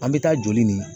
An bɛ taa joli nin